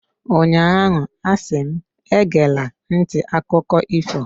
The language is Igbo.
ụnyahụ, a si m, egela nti akụkọ ifo!